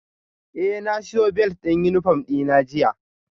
Eh na siyo belt din uniform dina jiya